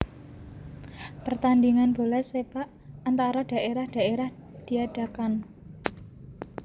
Pertandingan bola sepak antara daerah daerah diadakan